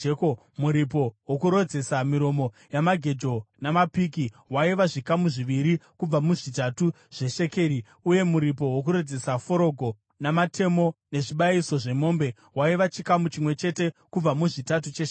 Muripo wokurodzesa miromo yamagejo, namapiki, waiva zvikamu zviviri kubva muzvitatu zveshekeri , uye muripo wokurodzesa forogo namatemo, nezvibayiso zvemombe waiva chikamu chimwe chete kubva muzvitatu cheshekeri .